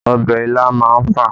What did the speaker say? Ọbẹ̀ ilá má ń fà